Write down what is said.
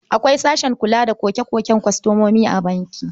Akwai sashen kula da koke-koken kwastomomi a banki.